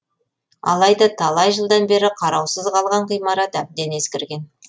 алайда талай жылдан бері қараусыз қалған ғимарат әбден ескірген